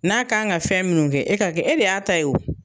N'a kan ka fɛn minnu kɛ e ka kɛ e de y'a ta ye o